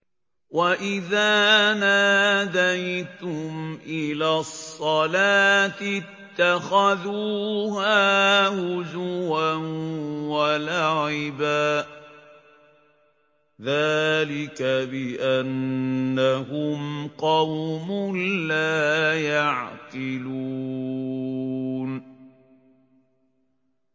وَإِذَا نَادَيْتُمْ إِلَى الصَّلَاةِ اتَّخَذُوهَا هُزُوًا وَلَعِبًا ۚ ذَٰلِكَ بِأَنَّهُمْ قَوْمٌ لَّا يَعْقِلُونَ